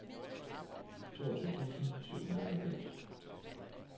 toogtyve tusind og syvoghalvfems